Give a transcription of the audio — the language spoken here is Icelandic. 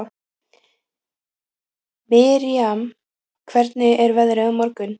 Miriam, hvernig er veðrið á morgun?